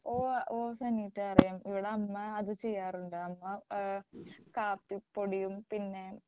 ഓ ഓ സനീറ്റ അറിയാം ഇവിടെ അമ്മ അത് ചെയ്യാറുണ്ട് അമ്മ ഏഹ് കാപ്പിപ്പൊടിയും പിന്നെ